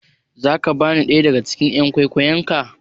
Za ka bani ɗaya daga cikin "yan kwikwiyon ka?